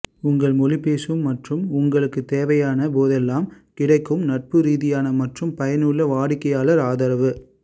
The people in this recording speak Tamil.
உங்கள் மொழி பேசும் மற்றும் உங்களுக்கு தேவையான போதெல்லாம் கிடைக்கும் நட்புரீதியான மற்றும் பயனுள்ள வாடிக்கையாளர் ஆதரவு